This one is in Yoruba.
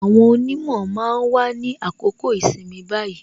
Àwọn onimo máa wà ní àkókò ìsinmi báyìí